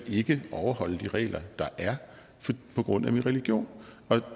ikke overholde de regler der er på grund af min region